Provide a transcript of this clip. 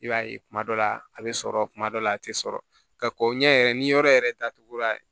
I b'a ye kuma dɔ la a bɛ sɔrɔ kuma dɔ la a tɛ sɔrɔ ka kɔ ɲɛ yɛrɛ ni yɔrɔ yɛrɛ datugura